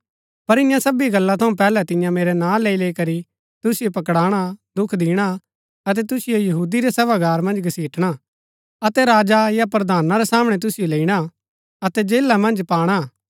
पर ईयां सबी गल्ला थऊँ पैहलै तियां मेरै नां लैईलैई करी तुसिओ पकड़ाणा दुख दिणा अतै तुसिओ यहूदी रै सभागार मन्ज घसिटणा अतै राजा या प्रधाना रै सामणै तुसिओ लैईणा अतै जेला मन्ज पाणा